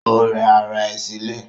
Ó rẹ ara ẹ̀ sílẹ̀